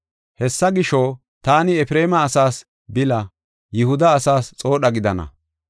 Hessa gisho, taani Efreema asaas bile, Yihuda asaas xoodha gidana.